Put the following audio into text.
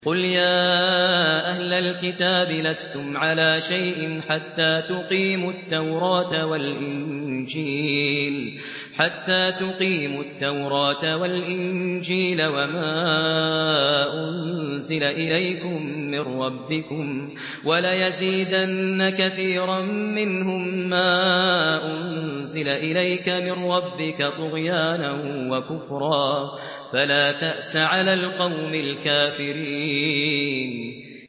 قُلْ يَا أَهْلَ الْكِتَابِ لَسْتُمْ عَلَىٰ شَيْءٍ حَتَّىٰ تُقِيمُوا التَّوْرَاةَ وَالْإِنجِيلَ وَمَا أُنزِلَ إِلَيْكُم مِّن رَّبِّكُمْ ۗ وَلَيَزِيدَنَّ كَثِيرًا مِّنْهُم مَّا أُنزِلَ إِلَيْكَ مِن رَّبِّكَ طُغْيَانًا وَكُفْرًا ۖ فَلَا تَأْسَ عَلَى الْقَوْمِ الْكَافِرِينَ